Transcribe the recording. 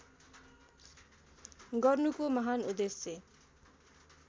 गर्नुको महान् उद्देश्य